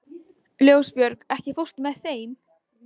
Ljósbjörg, ekki fórstu með þeim?